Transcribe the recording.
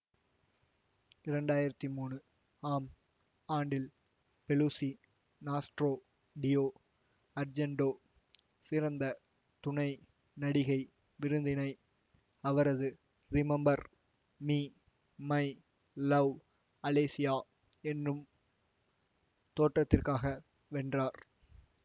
இரண்டு ஆயிரத்தி மூனு ஆம் ஆண்டில் பெலூஸி நாஸ்ட்ரோ டி அர்ஜெண்டோ சிறந்த துணை நடிகை விருதினை அவரது remember me my love Alessia எனும் தோற்றத்திற்காக வென்றார்